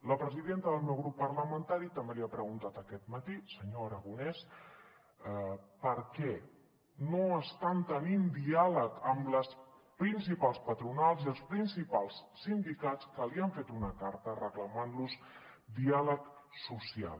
la presidenta del meu grup parlamentari també li ha preguntat aquest matí senyor aragonès per què no estan tenint diàleg amb les principals patronals i els principals sindicats que li han fet una carta per reclamar los diàleg social